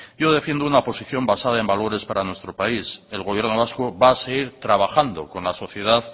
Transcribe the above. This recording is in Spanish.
yo defiendo una posición basada en valores para nuestro país el gobierno vasco va a seguir trabajando con la sociedad